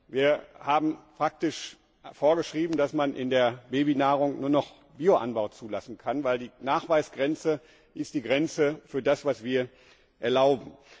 Wir haben praktisch vorgeschrieben, dass man in der Babynahrung nur noch Bioanbau zulassen darf, denn die Nachweisgrenze ist die Grenze für das, was wir erlauben.